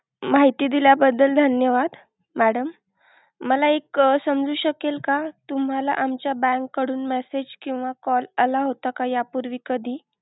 माहिती दिल्या बद्दल धन्यवाद madam मला एक समजू शकेल का तुम्हाला आमच्या bank कडून message किंवा call आला होता या पूर्वी कधी?